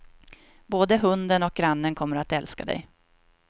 Både hunden och grannen kommer att älska dig.